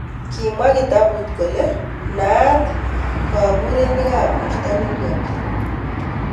Kimwa kitabut kole naat kaburuneik ab borto nemnyani.